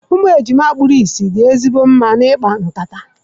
Ụmụ ejima kpuru ìsì dị ezigbo mma na ikpa nkata.